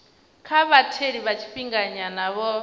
kha vhatheli vha tshifhinganyana vho